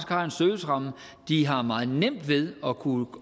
har en serviceramme de har meget nemt ved at kunne